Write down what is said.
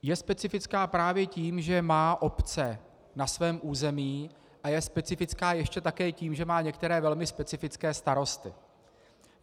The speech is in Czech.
Je specifická právě tím, že má obce na svém území, a je specifická ještě také tím, že má některé velmi specifické starosty.